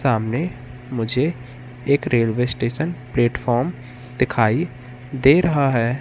सामने मुझे एक रेलवे स्टेशन प्लेटफार्म दिखाई दे रहा है।